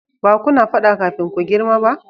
ba kuna fada kafin ku girma ba?